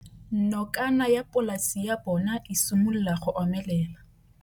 Nokana ya polase ya bona, e simolola go omelela.